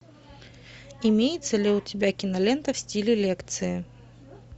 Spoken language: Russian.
имеется ли у тебя кинолента в стиле лекции